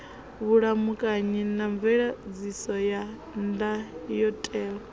vhulamukanyi na mveledziso ya ndayotewa